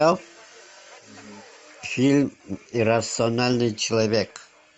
фильм иррациональный человек